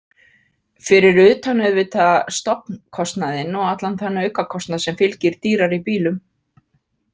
Fyrir utan auðvitað stofnkostnaðinn og allan þann aukakostnað sem fylgir dýrari bílum.